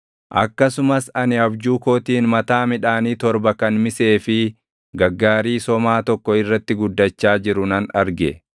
“Akkasumas ani abjuu kootiin mataa midhaanii torba kan misee fi gaggaarii somaa tokko irratti guddachaa jiru nan arge.